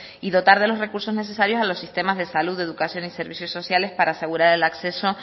y dotar de los recursos necesarios a los sistemas de salud de educación y servicios sociales para asegurar el acceso